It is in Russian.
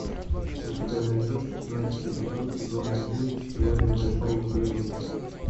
у тебя найдется шестнадцатый эпизод сезона один теория большого взрыва